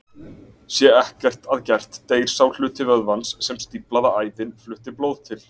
Sé ekkert að gert deyr sá hluti vöðvans sem stíflaða æðin flutti blóð til.